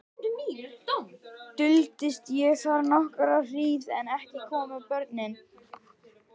Duldist ég þar nokkra hríð en ekki komu börnin.